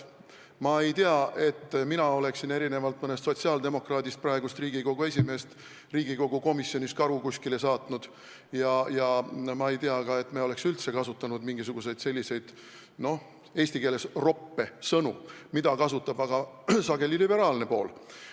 Ma ei tea, et erinevalt mõnest sotsiaaldemokraadist oleksin mina praegust Riigikogu esimeest Riigikogu komisjonis kuskile karu... saatnud, ja ma ei tea ka, et me oleks üldse kasutanud mingisuguseid roppe sõnu, mida kasutab aga sageli liberaalne pool.